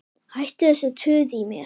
Hættu þessu tuði í mér.